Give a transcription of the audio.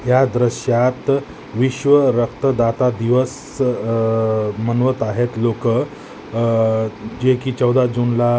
या दृश्यात विश्व रक्त दाता दिवस अह मनवत आहेत लोक. अह जेकी चौदा जूनला--